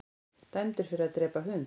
Dæmdur fyrir að drepa hund